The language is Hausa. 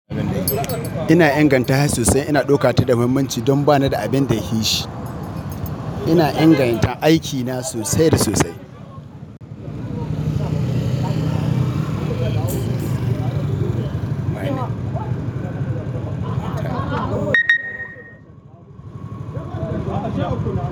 Ina ingantashi sosai. Ina ɗauka ta da muhimmanci don ba ni da abin da ya fi shi. Ina inganta aikina sosai da sosai.